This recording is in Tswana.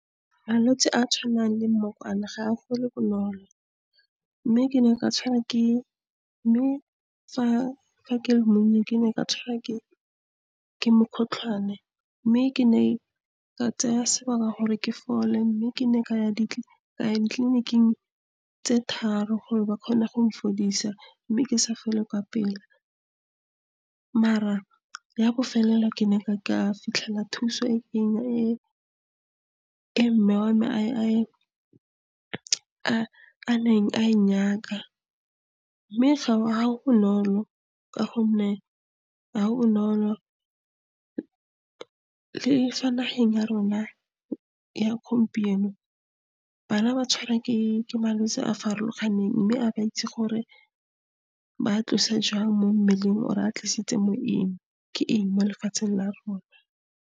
Malwetsi a tshwanang le mmokwane ga a fole bonolo, mme ke ne ka tshwara ke, mme fa ke le monnye ke ne ka tshwara ke, ke mokgotlhwane, mme ke ne ka tsaya sebaka gore ke fole, mme ke ne ka ya ditleliniking tse tharo gore ba kgone gong fodisa, mme ke sa fole ka pela. Maar-a ya bofelelo ke ne ka fitlhela thuso e nnye, e mme wa me a neng a e nyaka, mme bonolo ka gonne ga go bonolo. Le fa nageng ya rona ya gompieno bana ba tshwarwa ke malwetsi a farologaneng, mme a ba itse gore ba tlose jang mo mmeleng or-e a tlisitse mo eng, ke eng mo lefatsheng la rona.